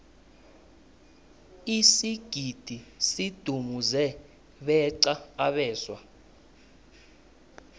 isigidi sidumuze beqa abeswa